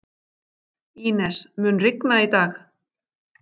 Ínes, mun rigna í dag?